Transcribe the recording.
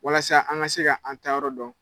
Walasa an ka se ka a taayɔrɔ dɔn.